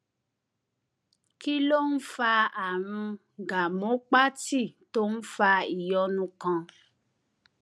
kí ló ń fa àrùn gàmópátì tó ń fa ìyọnu kan